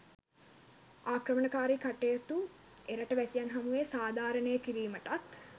ආක්‍රමණකාරී කටයුතු එරට වැසියන් හමුවේ සාධාරණය කිරීමටත්